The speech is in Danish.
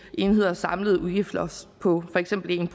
enheders samlede udgiftsloft på for eksempel en